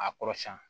A kɔrɔ siɲɛ